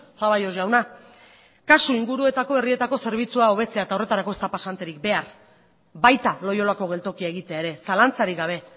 zaballos jauna kasu inguruetako herrietako zerbitzua hobetzea eta horretarako ez da pasanterik behar baita loiolako geltokia egitea ere zalantzarik gabe